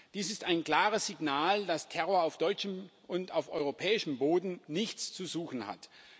Dies ist ein klares Signal, dass Terror auf deutschem und auf europäischem Boden nichts zu suchen hat.